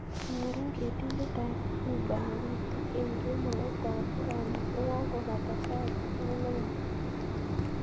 Nyorun ketindet ab uber nepitu en kemout ab rani yegagopata sait ang'wan nebo kemoo